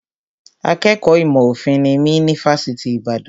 Akẹ́kọ̀ọ́ ìmọ̀ òfin nimí ní Fásitì Ìbàdàn